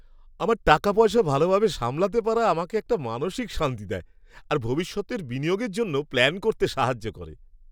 আমার টাকাপয়সা ভালোভাবে সামলাতে পারা আমাকে একটা মানসিক শান্তি দেয় আর ভবিষ্যতের বিনিয়োগের জন্য প্ল্যান করতে সাহায্য করে।